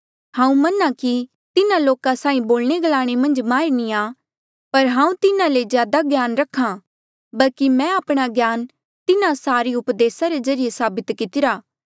हांऊँ मना कि तिन्हा लोका साहीं बोलणे ग्लाणे मन्झ माहिर नी आ पर हांऊँ तिन्हा ले ज्यादा ज्ञान रखा आ बल्की मैं आपणा ज्ञान तिन्हा सारे उपदेसा रे ज्रीए साबित कितिरा